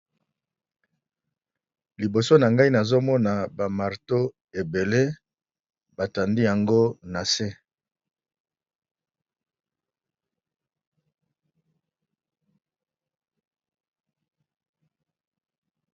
Liboso na ngai nazomona ba marteau ebele batandi yango na se.